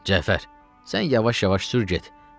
Cəfər, sən yavaş-yavaş sür get.